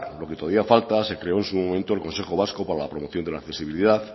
lo que todavía falta se creó en su momento el consejo vasco para la promoción de la accesibilidad